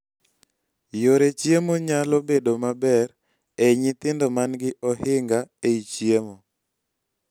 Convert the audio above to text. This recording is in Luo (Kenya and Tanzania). yore chiemo nyalo bedo maber ei nyithindo man gi ohinga ei chiemo